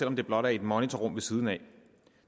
om det blot er i et monitorrum ved siden af